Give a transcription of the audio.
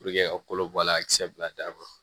ka kolo bɔ a la a kisɛ bila daw